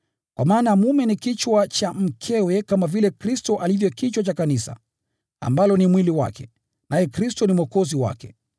Kwa maana mume ni kichwa cha mkewe kama vile Kristo alivyo kichwa cha Kanisa, ambalo ni mwili wake, naye Kristo ni Mwokozi wake.